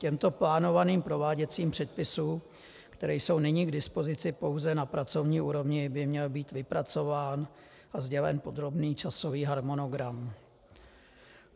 Těmto plánovaným prováděcím předpisům, které jsou nyní k dispozici pouze na pracovní úrovni, by měl být vypracován a sdělen podrobný časový harmonogram.